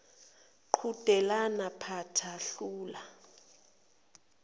qhudelana phatha hlula